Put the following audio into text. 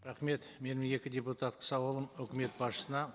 рахмет менің екі депутаттық сауалым үкімет басшысына